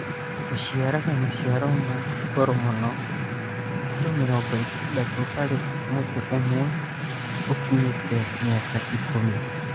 Ũciaraga maciaro ma goro mũno ( kilo mĩrongo itandatũ harĩ mũtĩ ũmwe ũkinyĩte mĩaka ikũmi).